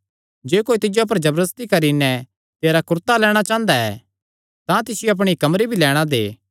जे कोई तिज्जो पर जबरदस्ती करी नैं तेरा कुरता लैणां चांह़दा ऐ तां तिसियो धोती भी लैणां दे